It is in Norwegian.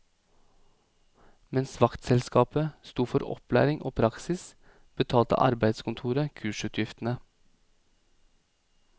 Mens vaktselskapet sto for opplæring og praksis, betalte arbeidskontoret kursutgiftene.